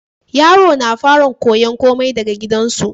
Yaro na fara koyan komai daka gidan su